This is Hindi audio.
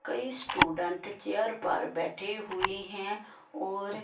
कई स्टूडेंट चेयर पर बैठे हुए हैं और --